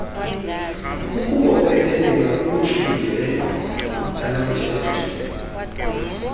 ukubopheleleka kwimisindleko yalomthetho